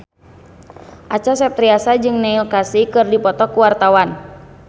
Acha Septriasa jeung Neil Casey keur dipoto ku wartawan